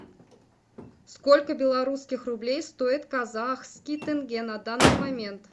сколько белорусских рублей стоит казахский тенге на данный момент